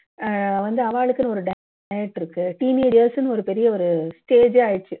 அஹ் வந்து அவாளுக்குன்னு ஒரு இருக்கு teenagers ன்னு ஒரு பெரிய ஒரு stage ஏ ஆயிடுச்சு